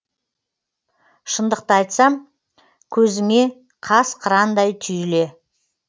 шындықты айтсам көзіңе қас қырандай түйіле